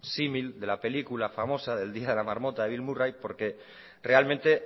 símil de la película famosa el día de la marmota de bill murray porque realmente